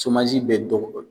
bɛ dɔ bɔ o la